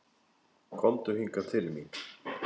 Komdu hingað til mín.